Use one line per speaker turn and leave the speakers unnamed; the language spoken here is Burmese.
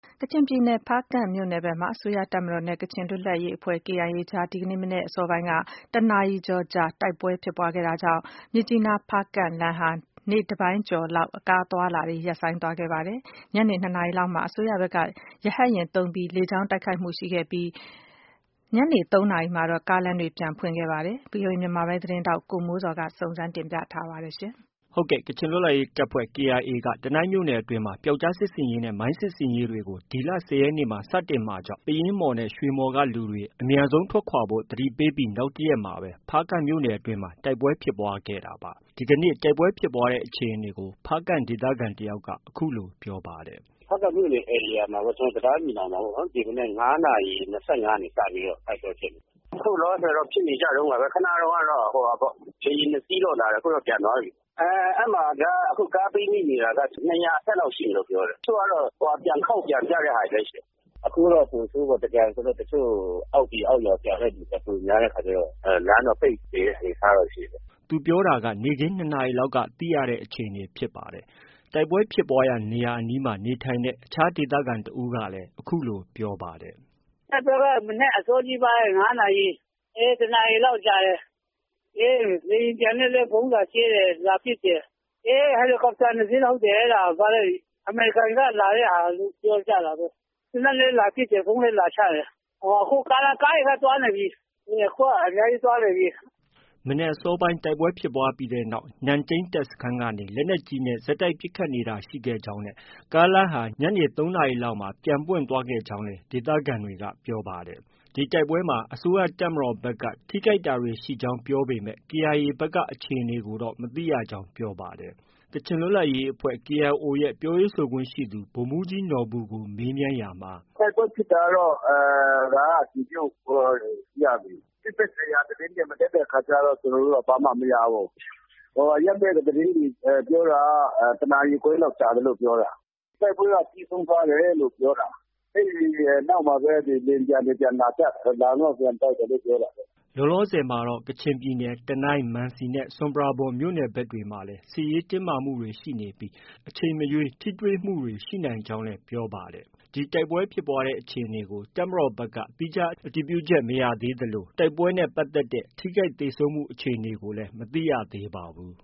ကချင်ပြည်နယ် ဖားကန့်မြို့နယ်မှာ အစိုးရတပ်မတော်နဲ့ ကချင်လွတ်လပ်ရေးအဖွဲ့ KIA အကြား ဒီကနေ့ မနက် အစောပိုင်းက တစ်နာရီကျော်ကြာ တိုက်ပွဲဖြစ်ပွားခဲ့တာကြောင့် မြစ်ကြီးနား-ဖားကန့်လမ်းဟာ နေ့တပိုင်းကျော် လောက် ကားအသွားအလာတွေ ရပ်ဆိုင်းသွားခဲ့ပါတယ်။ ညနေ ၂နာရီလောက်မှာ အစိုးရဖက် က ရဟတ်ယာဉ်သုံးပြီး လေကြောင်းက တိုက်ခိုက်တာတွေ ရှိခဲ့သလို ၃နာရီလောက်မှာတော့ ကားလမ်းပြန်ပွင့် သွားခဲ့ပါတယ်။ ဒီသတင်းကို ဗီအိုအေ မြန်မာပိုင်းသတင်းထောက် ကိုမိုးဇော်က တင်ပြထားပါတယ်။ ကခ
ျင်လွတ်လပ်ရေးတပ်ဖွဲ့ KIA က တနိုင်းမြို့နယ်အတွင်းမှာ ပြောက်ကျားစစ်ဆင်ရေးနဲ့ မိုင်းစစ်ရေး တွေ ဒီလ ၁၀ရက်နေ့မှာ စတင်မှာကြောင့် ပယင်းမှော်၊ ရွှေမှော်က လူတွေ အမြန်ဆုံးထွက်ခွာဖို့ သတိပေးပြီး နောက်တရက်မှာပဲ ဖားကန့်မြို့နယ်အတွင်းမှာ တိုက်ပွဲဖြစ်ပွားခဲ့တာပါ။ ဒီနေ့ တိုက်ပွဲဖြစ်ပွားတဲ့ အခြေအနေကို ဖားကန့်ဒေသခံ တယောက်က အခုလို ပြောပါတယ်။ “ဖားကန့်မြို့နယ် ဧရိယာမှ
ာပေါ့၊ ကျနော်တို့ တံတားညီနောင်မှာ ပေါ့။ ဒီမနက် ၅နာရီ ၂၅က စတိုက်ပွဲဖြစ်တာ။ ခုလောလောဆည်တော့ ဖြစ်နေကြတုံးပဲ။ ခုနတုံးက လေယာဉ် ၂စီးတော့ လာတယ် ခု ပြန်သွားပြီ။ ခု အဲမှာက ကားပိတ်မိနေတာက ၂၀၀ အထက်လောက်ရှိတယ်ပြောတယ်။ တချို့က ပြန်ခေါက် ပြန်ကြတာလည်း ရှိတယ်။ ခုက ပိုဆိုးပေါ့။ ခုက သင်္ကြန် ဆိုတော့ အောက်ပြည်အောက်ရွာပြန်တဲ့သူက ပိုများတဲ့အခါကျတော့ လမ်းတော့ပိတ်နေတဲ့ အနေအထား ရှိတယ်။
” သူပြောတာက နေ့ခင်း ၂နာရီက သိရတဲ့ အခြေအနေဖြစ်ပါတယ်။ တိုက်ပွဲဖြစ်ပွားရာ နေရာအနီးမှာ နေထိုင်တဲ့ အခြား ဒေသခံတဦးကလည်း အခုလို ပြောပါတယ်
။ “တိုက်ပွဲက မနက်အစောကြီးပိုင်း ၅နာရီ၊ အေး တစ်နာရီလောက် ကြာတယ်။ လေယာဉ်ပျံနဲ့လည်း ဗုံးလာ ကြဲ တယ် လာပစ်တယ်။ ဟယ်လီကော်ပတာ ၂စီး အဲဒါ ၊ အမေရိကန်ကလုပ်တယ်ပြောကြတာပဲ။ သေနတ်နဲ့ လည်း ပစ်တယ်၊ ဗုံးလည်းလာချတယ်။ အခုက ကားတွေလည်း သွားနေပြီ။ အများကြီးသွားနေပြီ။
” မနက်အစောပိုင်း တိုက်ပွဲ ဖြစ်ပွားပြီးနောက်မှာ နန့်တိန်းစခန်းကနေ လက်နက်ကြီးနဲ့ ဆက်တိုက်ပစ်ခတ် နေတာ ရှိခဲ့ကြောင်းနဲ့ ကားလမ်းဟာ ညနေ ၃နာရီလောက်မှာ ပွင့်သွားခဲ့ကြောင်းလည်း ဒေသခံတွေက ပြောပါတယ်။ ဒီတိုက်ပွဲအတွင်းမှာ အစိုးရတပ်မတော်ဖက်က ထိခိုက်တာတွေ ရှိကြောင်း ပြောပေမဲ့ KIA ဖက်က အခြေအနေကို မသိရကြောင်း ပြောပါတယ်။ ကချင်လွတ်လပ်ရေးအဖွဲ့ KIO ရဲ့ ပြောရေးဆိုခွင့်ရှိသူ ဗိုလ်မှုးကြီးနော်ဘူကို မေးမြန်းရာမှာ -
“တိုက်ပွဲဖြစ်တာကတော့ ဒါက အတည်ပြုလို့ ရပြီ။ စစ်ဖက်ဆိုင်ရာသတင်းတွေ မတက်တဲ့အခါကျတော့ ကျနော်တို့ ဘာမှမရဘူး။ အရပ်ဖက်က သတင်းတွေ ပြောတာက တနာရီခွဲလောက် ကြာတယ်လို့ ပြောတယ်။ တိုက်ပွဲက ပြီးဆုံးသွားတယ်လို့ ပြောတာ။ အဲဒီနောက်မှပဲ လေယာဉ်ပျံတွေ ပြန်လာကြ၊ လာပြီးမှ ပြန်တိုက်တယ်လို့ ပြောတာပဲ
။” လောလောဆည်မှာတော့ ကချင်ပြည်နယ် တနိုင်း၊ မန်စီနဲ့ ဆွမ်ပရာဘွမ် မြို့နယ်ဖက်တွေမှာလည်း စစ်ရေး တင်းမာမှုတွေ ရှိနေပြီး အချိန်မရွေး ထိတွေ့မှုတွေ ရှိနိုင်ကြောင်းလည်း ပြောပါတယ်။ ဒီတိုက်ပွဲဖြစ်ပွားတဲ့ အခြေအနေကို တပ်မတော်ဖက်က သီးခြား အတည်ပြုချက်တော့ မရပါဘူး။ တိုက်ပွဲနဲ့ ပတ်သက်တဲ့ ထိခိုက်သေဆုံးမှုအခြေအနေကိုလည်း မသိရသေးပါဘူး။